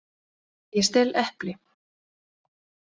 Ég stel epli.